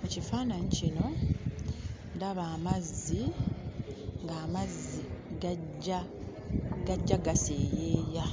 Mu kifaananyi kino, ndaba amazzi, ng'amazzi gajja gaseeyeeya